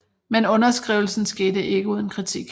Men underskrivelsen skete ikke uden kritik